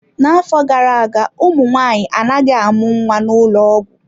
N'afọ gara aga, ụmụ nwanyị anaghị amụ nwa n'ụlọ ọgwụ.